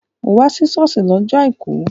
Wá sí ṣọ́ọ̀ṣì lọ́jọ́ àìkú!